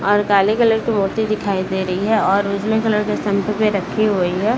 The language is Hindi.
और काले कलर की मूर्ति दिखाई दे रही है और उजले कलर की शंख भी रखी हुई है।